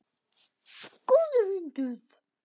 Góður hundur.